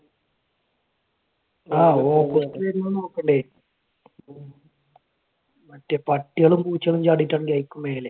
ആഹ് opposite വരുമ്പൊ നോക്കണ്ടേ? മറ്റേ പട്ടികളും പൂച്ചകളും ചാടിയിട്ടാണെങ്കിൽ അതുക്കും മേലെ.